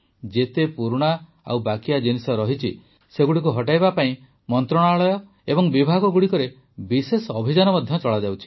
ଯେତେ ପୁରୁଣା ଓ ବାକିଆ ଜିନିଷ ଅଛି ସେଗୁଡ଼ିକୁ ହଟାଇବା ପାଇଁ ମନ୍ତ୍ରଣାଳୟ ଓ ବିଭାଗଗୁଡ଼ିକରେ ବିଶେଷ ଅଭିଯାନ ମଧ୍ୟ ଚଳାଯାଉଛି